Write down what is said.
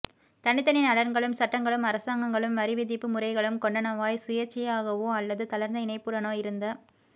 தனித்தனி நலன்களும் சட்டங்களும் அரசாங்கங்களும் வரிவிதிப்பு முறைகளும் கொண்டனவாய்ச் சுயேச்சையாகவோ அல்லது தளர்ந்த இணைப்புடனோ இருந்த